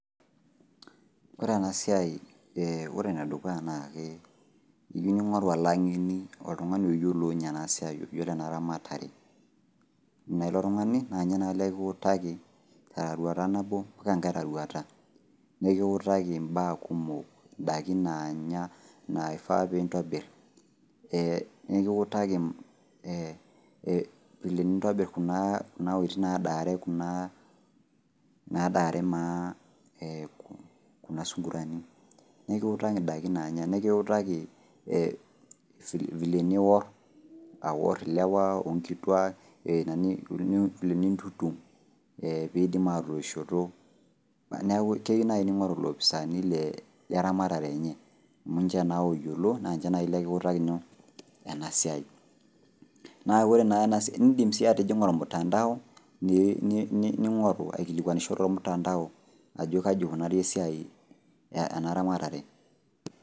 Kore ena siai ee ore nedukuya nakee eyou ning'oru olang'eni oltung'ani oyiolo ninye enasiai oyiolo enaramatare ina ilo tung'ani naaninye naa likiutaki teroruata nabo mpaka ngai roruata nekiutaki mbaa kumok, ndaiki naanya naifaa piintobirr ee nekiutaki ee  vile nintobirr kuna wueitin naadare kunaa nadaare maa eeh kuna sungurani. Nekiutaki ndaiki naanya nekiutaki eh vile niworr, aworr lewa onkituaa [eeh] vile nintutum ee peeidim aatoishoto neaku keyu nai ning'oru ilopisani le ramatare enye amu ninche ooyiolo naa ninche lekiutaki nyoo? Enasiai. Neaku ore naa enasiai indim sii atijing'a olmutandao ni ning'oru aikilikuanisho tolmutandao ajo kaji eikonari esiai enaramatare.